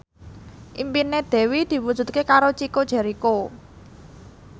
impine Dewi diwujudke karo Chico Jericho